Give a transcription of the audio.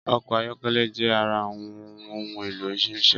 Ọkọ̀ ayọ́kẹ́lẹ́ jẹ ara awọn ohun èlò ìrìnsẹ̀